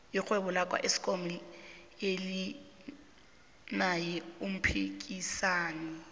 irhwebo laka eskom alinaye umphikisani